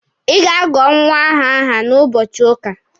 Ị ga-agọ nwa ahụ aha n'ụbọchị ụka!